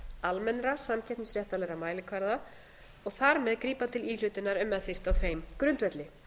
almennra samkeppnisréttarlegra mælikvarða og þar með grípa til íhlutunar ef með þyrfti á þeim grundvelli